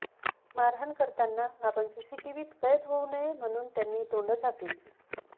मारहाण करताना आपण सीसीटीव्हीत कैद होऊ नये म्हणून त्यांनी तोंडं झाकली